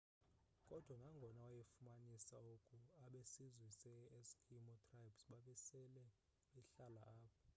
kodwa nangona wayefumanise oku abesizwe se eskimo tribes babesele behlala apho